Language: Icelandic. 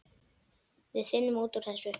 Við finnum út úr þessu.